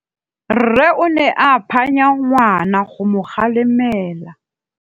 Rre o ne a phanya ngwana go mo galemela.